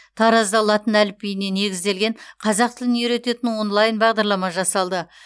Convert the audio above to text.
таразда латын әліпбиіне негізделген қазақ тілін үйрететін онлайн бағдарлама жасалды